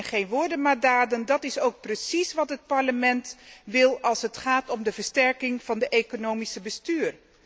Geen woorden maar daden, dat is ook precies wat het Parlement wil als het gaat om de versterking van het economisch bestuur.